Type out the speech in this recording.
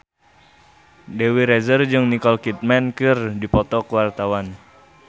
Dewi Rezer jeung Nicole Kidman keur dipoto ku wartawan